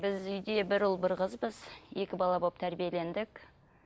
біз үйде бір ұл бір қызбыз екі бала болып тәрбиелендік